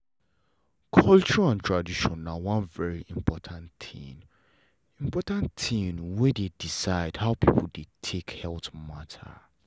culture and tradition na one very important thing important thing wey dey decide how people dey take health matter.